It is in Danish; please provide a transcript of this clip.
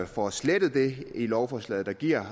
får slettet det i lovforslaget der giver